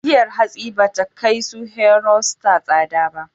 Giyar hatsi ba ta kai su Hero, Star tsada ba.